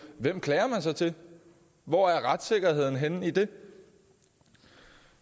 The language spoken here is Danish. hvem klager man så til hvor er retssikkerheden henne i det